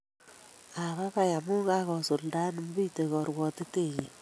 Abaibai amun, kigosuldaen Mbithe korwotitenyin